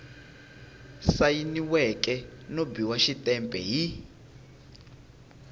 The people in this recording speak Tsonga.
sayiniweke no biwa xitempe hi